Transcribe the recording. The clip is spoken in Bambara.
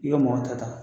I bɛ mɔgɔ ta